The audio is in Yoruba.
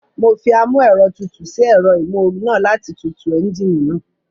Mo fi amúẹ̀rọtutù sí ẹ̀rọ ìmóoru náà láti tutù ẹ́ńjíìnì náà